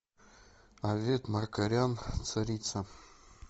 авет маркарян царица